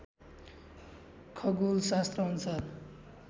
खगोलशास्त्रअनुसार